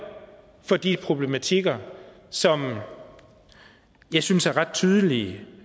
for de problematikker som jeg synes er ret tydelige